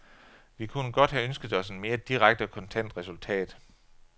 Vi kunne godt have ønsket os en mere direkte og kontant resultat.